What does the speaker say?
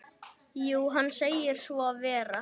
Jú, hann segir svo vera.